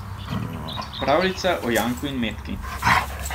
Pravljica o Janku in Metki.